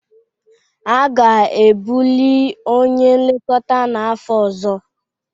A ga-ebuli onye nlekọta n'afọ ọzọ